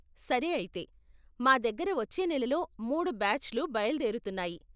సరే అయితే. మా దగ్గర వచ్చే నెలలో మూడు బ్యాచ్లు బయలుదేరుతున్నాయి.